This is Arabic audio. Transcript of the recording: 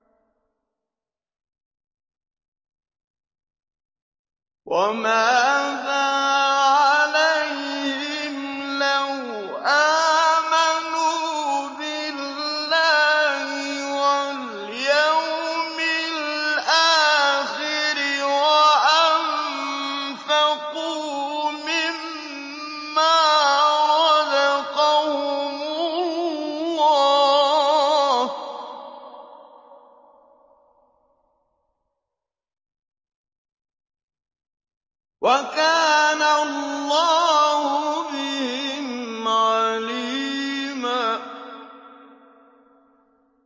وَمَاذَا عَلَيْهِمْ لَوْ آمَنُوا بِاللَّهِ وَالْيَوْمِ الْآخِرِ وَأَنفَقُوا مِمَّا رَزَقَهُمُ اللَّهُ ۚ وَكَانَ اللَّهُ بِهِمْ عَلِيمًا